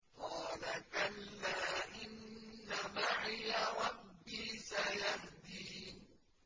قَالَ كَلَّا ۖ إِنَّ مَعِيَ رَبِّي سَيَهْدِينِ